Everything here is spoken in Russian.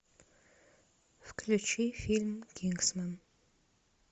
включи фильм кингсман